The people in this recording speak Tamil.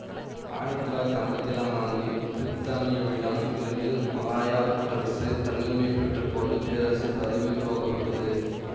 ஆயிரத்தி தொள்ளாயிரத்தி ஐம்பத்தி ஏழாம் ஆண்டு பிரித்தானியாவிடம் இருந்து மலாயா கூட்டரசு தன்னுரிமை பெற்ற போது பேரரசர் பதவி உருவாக்கப்பட்டது